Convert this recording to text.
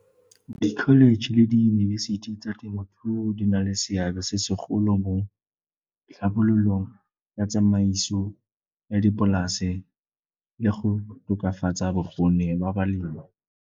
Ke college le diyunibesithi tsa temothuo di na le seabe se segolo mo tlhabololong ya tsamaiso ya dipolase le go tokafatsa bokgoni ba balemi.